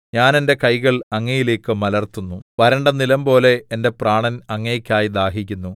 ഞാൻ എന്റെ കൈകൾ അങ്ങയിലേക്കു മലർത്തുന്നു വരണ്ട നിലംപോലെ എന്റെ പ്രാണൻ അങ്ങേയ്ക്കായി ദാഹിക്കുന്നു സേലാ